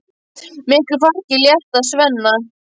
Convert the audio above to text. Miklu fargi er létt af Svenna.